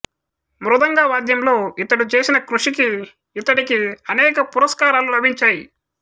మృదంగ వాద్యంలో ఇతడు చేసిన కృషికి ఇతడికి అనేక పురస్కారాలు లభించాయి